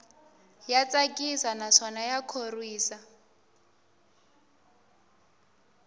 ya tsakisa naswona ya khorwisa